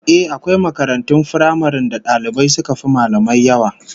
Ehh, akwai makarantun firamaren da dalibai suka fi mallamai yawa